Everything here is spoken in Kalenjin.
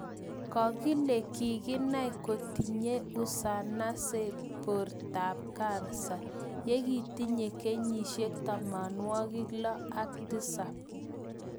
Kokile kikinai kotinyeii usanase bortab kansa ye kitinyei kenyisiek tamanwakik lo ak tisap